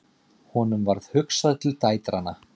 Honum varð hugsað til dætranna.